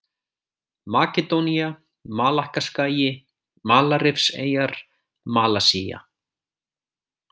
Makedónía, Malakkaskagi, Malarrifseyjar, Malasía